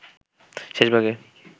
শেষ ভাগে